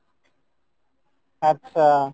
আচ্ছা